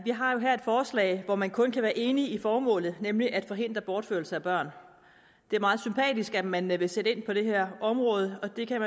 har jo her et forslag hvor man kun kan være enig i formålet nemlig at forhindre bortførelse af børn det er meget sympatisk at man vil sætte ind på det her område og det kan